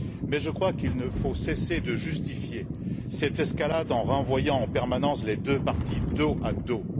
Mais je crois qu'il ne faut cesser de justifier cette escalade en renvoyant en permanence les deux parties dos à dos.